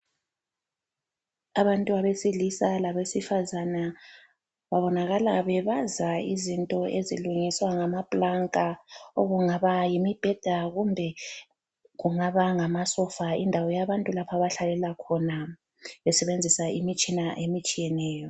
Abantu abesilisa labesifazana babonakala bebaza izinto ezilungiswa ngamaplanka, okungaba yimibheda kumbe kungaba ngamasofa, indawo yabantu lapho abahlalela khona besebenzisa imitshina emitshiyeneyo.